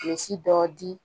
Bilisi dɔ di